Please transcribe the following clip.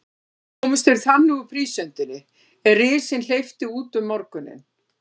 Komust þeir þannig úr prísundinni, er risinn hleypti út um morguninn.